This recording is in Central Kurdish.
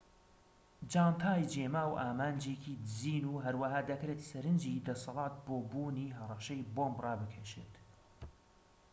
جانتای جێماو ئامانجێکی دزین و هەروەها دەکرێت سەرنجی دەسەڵات بۆ بوونی هەڕەشەی بۆمب ڕابکێشێت